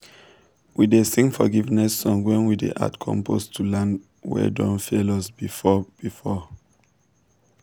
we dey sing forgiveness song when we dey add compost to land wey don fail us before. before..